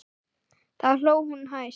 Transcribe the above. Þá hló hún hæst.